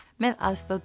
með aðstoð